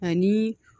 Ani